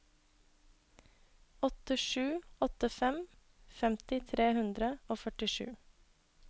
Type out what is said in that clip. åtte sju åtte fem femti tre hundre og førtisju